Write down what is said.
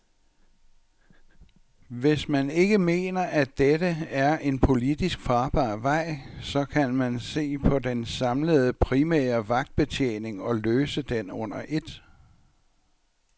Hvis man ikke mener, at dette er en politisk farbar vej, så kan man se på den samlede primære vagtbetjening og løse den under et.